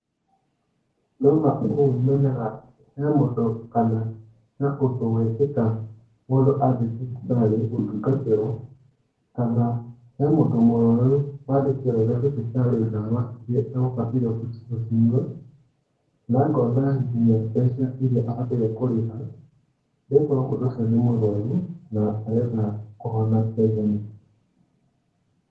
Ndona ũũ menyaga he mũndũ kana ũndũ wekĩka mũndũ athiĩ thibitarĩ gũtungatĩrwo kana hemũndũ mũrwaru wandĩkĩrwo nĩthibitarĩdawa iria agũbataire gucinyua na ngona nginya mbeca iria abataire kũrĩha, nĩgokorwo mũndũ ũcio nĩmũrwaru na arenda kũhona na ihenya.